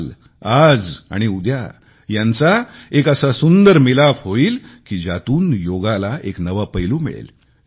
काल आज आणि उद्या यांचा एक असा सुंदर मिलाफ होईल की ज्यातून योगाला एक नवा पैलू मिळेल